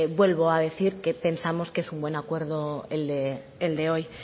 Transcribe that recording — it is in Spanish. vuelvo a decir que pensamos que es buen acuerdo el de hoy